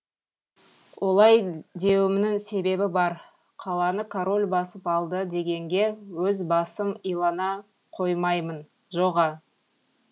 олай деуімнің себебі бар қаланы король басып алды дегенге өз басым илана қоймаймын жо ға